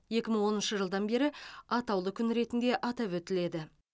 екі мың оныншы жылдан бері атаулы күн ретінде атап өтіледі